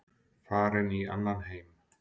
Farin í annan heim.